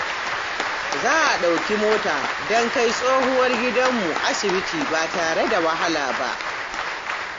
Za a ɗauki mota don kai tsohuwar gidanmu asibiti ba tare da wahala ba.